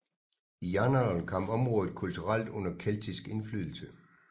I jernalderen kom området kulturelt under keltisk indflydelse